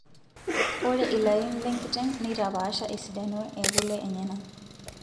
Ore ilarin lekiteng' neitapasha esidano ekule enyena.